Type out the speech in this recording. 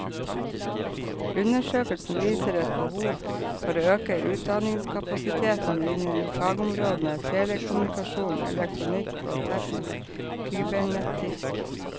Undersøkelsen viser et behov for å øke utdanningskapasiteten innen fagområdene telekommunikasjon, elektronikk og teknisk kybernetikk.